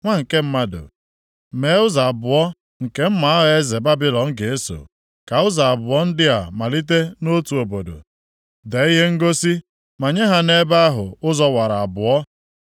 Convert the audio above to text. “Nwa nke mmadụ mee ụzọ abụọ nke mma agha eze Babilọn ga-eso. Ka ụzọ abụọ ndị a malite nʼotu obodo. Dee ihe ngosi manye ha nʼebe ahụ ụzọ wara abụọ.